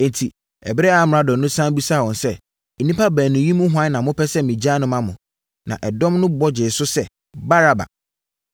Enti, ɛberɛ a amrado no sane bisaa wɔn sɛ, “Nnipa baanu yi mu hwan na mopɛ nɛ megyaa no ma mo?” Na ɛdɔm no bɔ gyee so sɛ, “Baraba!”